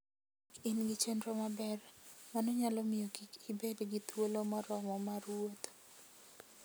Ka ok in gi chenro maber, mano nyalo miyo kik ibed gi thuolo moromo mar wuotho.